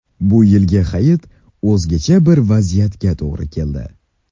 Bu yilgi hayit o‘zgacha bir vaziyatga to‘g‘ri keldi.